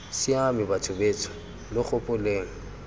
siame batho betsho lo gopoleng